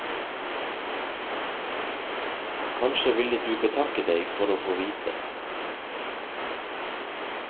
Kanskje ville du betakke deg for å få vite.